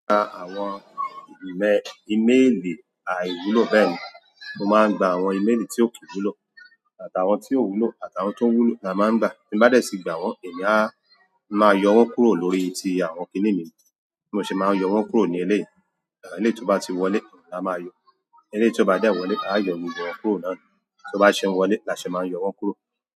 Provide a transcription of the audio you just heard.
Gba àwọn ímeèlì àìwúlò, bẹ́ẹ̀ ni. Mo máa ń gba àwọn ímeèlì tí ò kì wúlò àti àwọn tió wúlò àti àwọn tí ó wúlò ni a máa ń gba ti mo bá dé sì gba wọ́n, èmi a máa yọ wọ́n kúrò lórí tí àwọn kini mi bí mo ṣe máa ń yọ wọ́n kúrò ní eléyi, eleyi tí ó bá ti wọlé la máa yọ. Eléyí ó bá dẹ̀ wọlé a yọ gbogbo wọn kúrò nàá ni. Tí ó bá ṣe ń wọlé la ṣe máa ń yọ wọn kúrò.